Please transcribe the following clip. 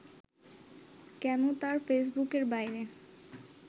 কেন তার ফেসবুকের বাইরে